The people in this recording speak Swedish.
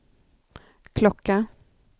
klocka